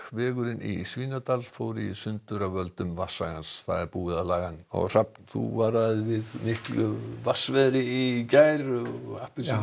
vegurinn í Svínadal fór í sundur af völdum búið er að laga hann hrafn þú varaðir við miklu vatnsveðri í gær og